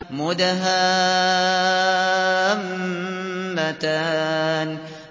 مُدْهَامَّتَانِ